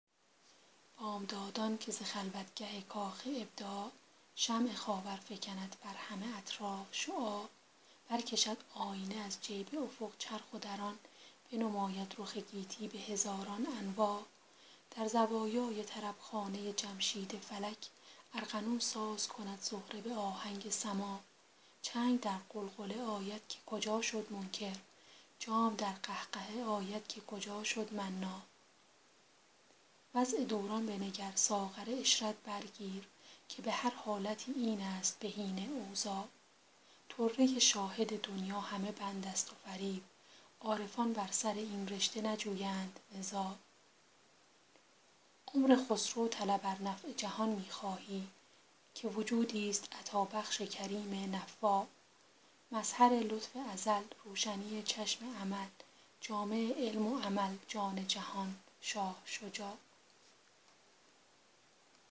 بامدادان که ز خلوتگه کاخ ابداع شمع خاور فکند بر همه اطراف شعاع برکشد آینه از جیب افق چرخ و در آن بنماید رخ گیتی به هزاران انواع در زوایای طربخانه جمشید فلک ارغنون ساز کند زهره به آهنگ سماع چنگ در غلغله آید که کجا شد منکر جام در قهقهه آید که کجا شد مناع وضع دوران بنگر ساغر عشرت بر گیر که به هر حالتی این است بهین اوضاع طره شاهد دنیی همه بند است و فریب عارفان بر سر این رشته نجویند نزاع عمر خسرو طلب ار نفع جهان می خواهی که وجودیست عطابخش کریم نفاع مظهر لطف ازل روشنی چشم امل جامع علم و عمل جان جهان شاه شجاع